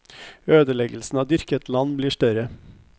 Ødeleggelsen av dyrket land blir større.